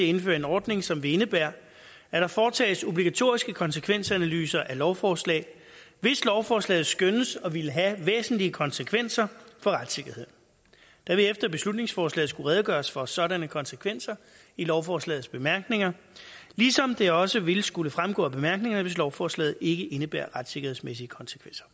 indføre en ordning som vil indebære at der foretages obligatoriske konsekvensanalyser af lovforslag hvis lovforslaget skønnes at ville have væsentlige konsekvenser for retssikkerheden der vil efter beslutningsforslaget skulle redegøres for sådanne konsekvenser i lovforslagets bemærkninger ligesom det også ville skulle fremgå af bemærkningerne hvis lovforslaget ikke indebærer retssikkerhedsmæssige konsekvenser